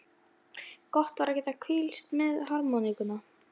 Jarðlagasyrpurnar á Tjörnesi eru fyrir margra hluta sakir fróðlegar.